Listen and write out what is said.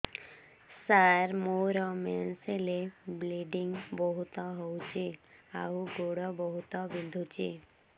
ସାର ମୋର ମେନ୍ସେସ ହେଲେ ବ୍ଲିଡ଼ିଙ୍ଗ ବହୁତ ହଉଚି ଆଉ ଗୋଡ ବହୁତ ବିନ୍ଧୁଚି